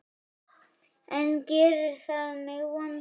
En gerir það mig vondan?